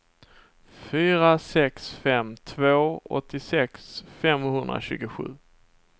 fyra sex fem två åttiosex femhundratjugosju